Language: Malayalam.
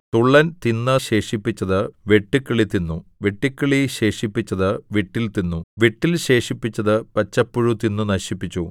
തുള്ളൻ തിന്നു ശേഷിപ്പിച്ചത് വെട്ടുക്കിളി തിന്നു വെട്ടുക്കിളി ശേഷിപ്പിച്ചത് വിട്ടിൽ തിന്നു വിട്ടിൽ ശേഷിപ്പിച്ചത് പച്ചപ്പുഴു തിന്നു നശിപ്പിച്ചു